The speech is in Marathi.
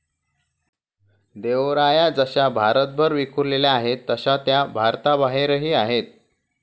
देवराया जशा भारतभर विखुरलेल्या आहेत तशा त्या भारताबाहेरही आहेत.